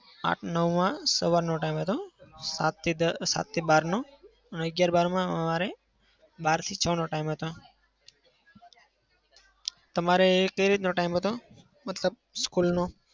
આઠ-નવમાં સવારનો time હતો. સાતથી દ સાતથી બારનો અને અગિયાર-બારમાં અમારે બારથી છ નો time હતો. તમારે કઈ રીતનો time હતો? મતલબ school નો.